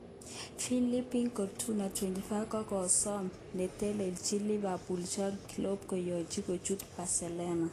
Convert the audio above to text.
Philippe Coutinho,25,kosome netelechin Liverpool Jurgen Klopp kiyochi kochut Bercelona.